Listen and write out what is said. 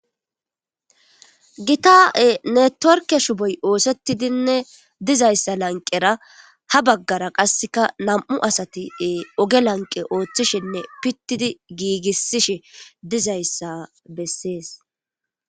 Gita netiworkke shuppoy oosetidinne dizayssa lanqera ha baggara qasseka nam7u asati oge lanqe ooththishinne pittidi giigissishe dizayssa bessees.